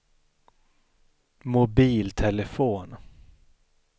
mobiltelefon